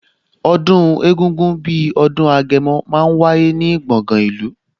Ọdún egungun bí ọdún Agẹmọ máa ń wáyé ní gbọ̀ngan ìlú